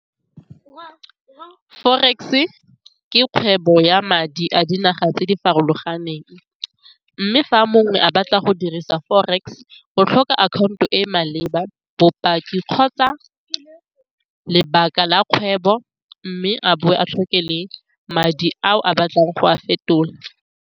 Forex-e ke kgwebo ya madi a dinaga tse di farologaneng, mme fa mongwe a batla go dirisa forex go tlhoka akhaonto e maleba bopaki kgotsa lebaka la kgwebo mme a bowe a tlhoke le madi ao a batlang go a fetola.